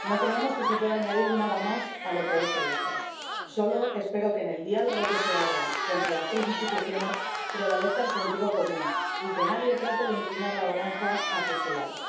No creemos que se pueda añadir nada más a lo que en él se dice. Sólo espero que en el diálogo que se abra entre las tres instituciones prevalezca el sentido común y que nadie trate de inclinar la balanza hacia su lado.